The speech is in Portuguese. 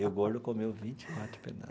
E o, gordo, comeu vinte e quatro pedaços.